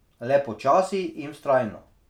Le počasi in vztrajno.